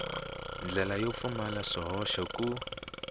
ndlela yo pfumala swihoxo ku